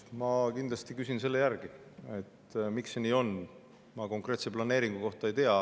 Ma kindlasti küsin järgi, miks see nii on, ma konkreetse planeeringu kohta ei tea.